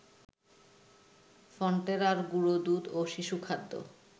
ফন্টেরার গুঁড়োদুধ ও শিশুখাদ্য